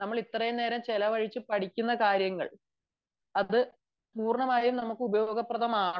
നമ്മൾ ഇത്രയും നേരം ചിലവഴിച്ചു പഠിക്കുന്ന കാര്യങ്ങൾ പൂർണ്ണമായും നമുക്ക് ഉപയോഗപ്രദമാകണം